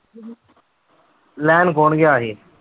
ਲੈਣ ਕੌਣ ਗਿਆ ਸੀ?